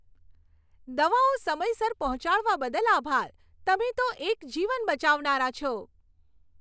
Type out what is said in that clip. દવાઓ સમયસર પહોંચાડવા બદલ આભાર. તમે તો એક જીવન બચાવનારા છો.